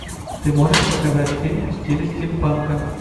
ты можешь показать фильм в стиле стимпанка